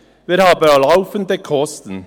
Wir haben aber laufende Kosten.